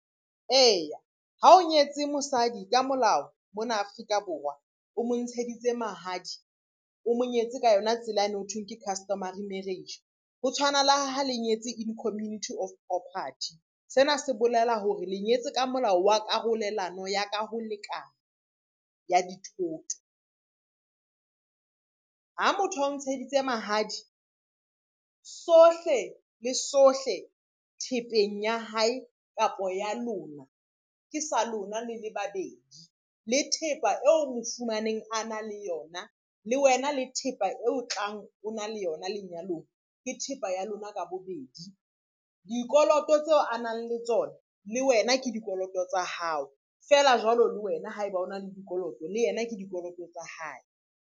Eya, ha o nyetse mosadi ka molao mona Afrika Borwa, o mo ntsheditse mahadi, o mo nyetse ka yona tsela yane ho thweng ke customary marriage, ho tshwana le ha le nyetse in community of property, sena se bolela hore le nyetse ka molao wa karolelwano ya ka ho lekana ya dithoto. Ha motho a o ntsheditse mahadi sohle le sohle thepeng ya hae kapa ya lona, ke sa lona le le babedi le thepa eo mo fumaneng a na le yona, le wena le thepa eo o tlang o na le yona lenyalong ke thepa ya lona ka bobedi. Dikoloto tseo a nang le tsona le wena ke dikoloto tsa hao, feela jwalo le wena haeba o na le dikoloto le yena ke dikoloto tsa hae.